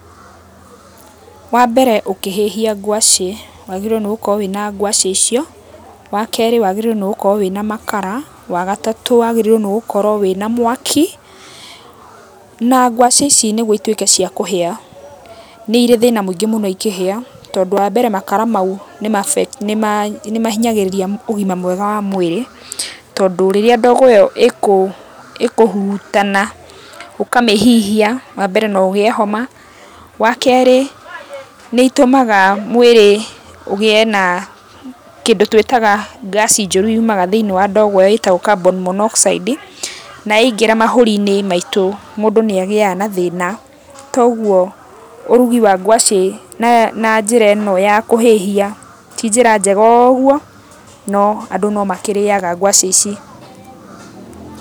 Wa mbere ũkĩhĩhia ngwacĩ wagĩrĩirũo nĩ gũkorwo wĩna ngwacĩ icio, wa kerĩ wagĩrĩirwo nĩ gũkorwo wĩna makara, wa gatatũ wagĩrĩirwo nĩ gũkorwo wĩna mwaki. Na ngwacĩ ici nĩguo ituĩke cia kũhĩa nĩ irĩ thĩna mũingĩ mũno ikĩhĩa tondũ wa mbere makara mau nĩ mahinyagĩrĩria ũgima mwega wa mwĩrĩ. Tondũ rĩrĩa ndogo ĩyo ĩkũhurutana ũkamĩhihia, wa mbere no ũgĩe homa, wa kerĩ nĩ ĩtũmaga mwĩrĩ ũgĩe na kĩndũ tũĩtaga ngaasi njũru yumaga thĩinĩ wa ndogo ĩyo kĩndũ twĩtaga carbon monoxide, na yaingĩra mahũri-inĩ maitũ mũndũ nĩ agĩaga na thĩna. Toguo ũrugi wa ngwacĩ na njĩra ĩno ya kũhĩhia ti njĩra njega ũguo no andũ no makĩrĩaga ngwacĩ ici.